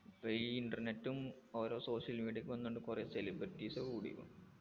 പ്പോ ഈ internet ഉം ഓരോ social media ക്കും എന്ത്ണ്ട് കൊറേ celebrities കൂടിക്കുണു